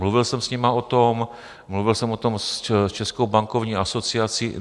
Mluvil jsem s nimi o tom, mluvil jsem o tom s Českou bankovní asociací.